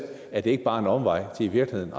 er det ikke bare en omvej til i virkeligheden